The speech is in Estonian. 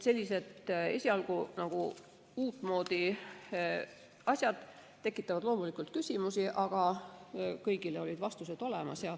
Sellised esialgu nagu uutmoodi asjad tekitavad loomulikult küsimusi, aga kõigile olid vastused olemas.